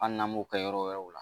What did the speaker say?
Hali n'an m'u kɛ yɔrɔ wɛrɛw la.